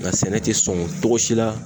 Nka sɛnɛ te sɔn cogo si la